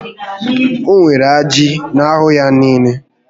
O nwere ajị n'ahụ ya niile